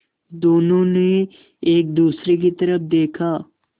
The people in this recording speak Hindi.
दोनों ने एक दूसरे की तरफ़ देखा